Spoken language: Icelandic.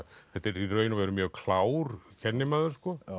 þetta er í raun og veru mjög klár kennimaður